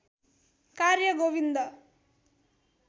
कार्य गोविन्द